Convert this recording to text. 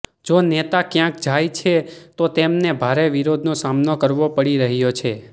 જો નેતા ક્યાંક જાય છે તો તેમને ભારે વિરોધનો સામનો કરવો પડી રહ્યો છે